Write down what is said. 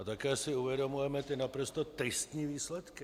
A také si uvědomujeme ty naprosto tristní výsledky.